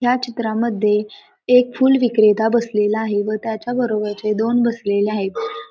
ह्या चित्रामध्ये एक फूल विक्रेता बसलेला आहे व त्याच्या बरोबरचे दोन बसलेले आहेत.